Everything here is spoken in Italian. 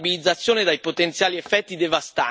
La Turchia è un partner strategico per l'Europa.